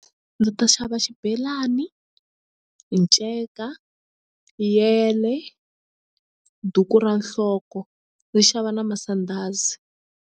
Ndzi ta xava xibelani nceka yele duku ra nhloko ni xava na masandhazi.